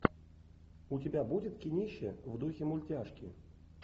у тебя будет кинище в духе мультяшки